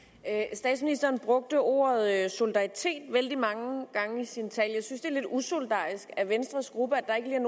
statsministeren brugte ordet solidaritet vældig mange gange i sin tale jeg synes det er lidt usolidarisk af venstres gruppe